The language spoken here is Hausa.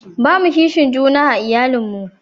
ba mu a kishin juna a iyalin mu